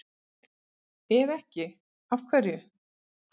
Ef ekki, af hverju?